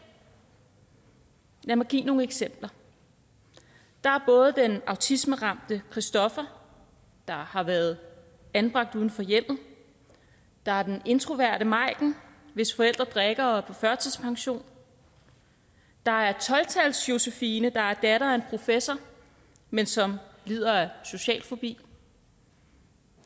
lad mig give nogle eksempler der er både den autismeramte på stoffer der har været anbragt uden for hjemmet der er den introverte majken hvis forældre drikker og er på førtidspension der er tolv tals josefine der er datter af en professor men som lider af social fobi